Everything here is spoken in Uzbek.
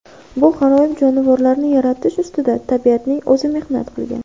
Bu g‘aroyib jonivorlarni yaratish ustida tabiatning o‘zi mehnat qilgan.